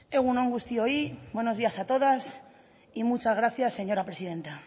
egun on guztioi buenos días a todas y muchas gracias señora presidenta